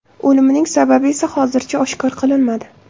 O‘limining sababi esa hozircha oshkor qilinmadi.